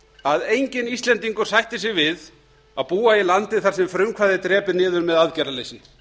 að enginn íslendingur sættir sig við að búa í landi þar sem frumkvæði er drepið niður með aðgerðarleysi